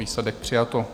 Výsledek - přijato.